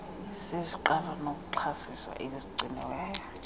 zeziqalo zokuxhobisa ezigciniweyo